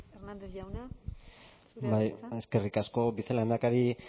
hernández jauna zurea da hitza bai eskerrik asko vicelehendakari